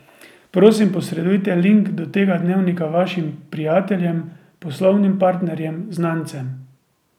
Prosim, posredujte link do tega dnevnika vašim prijateljem, poslovnim partnerjem, znancem.